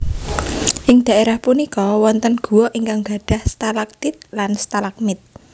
Ing daerah punika wonten gua ingkang gadhah stalagtit lan stalagmit